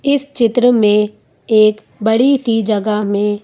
इस चित्र में एक बड़ी सी जगह में--